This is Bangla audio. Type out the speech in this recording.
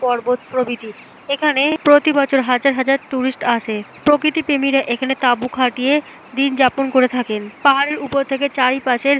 পর্বত প্রভৃতি। এখানে প্রতি বছর হাজার হাজার টুরিস্ট আসে। প্রকৃতি প্রেমিরা এখানে তাবু খাটিয়ে দিন যাপন করে থাকেন। পাহাড়ের উপর থেকে চারি পাশের --